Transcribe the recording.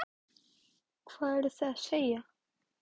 LÁRUS: Hvað eruð þér að segja?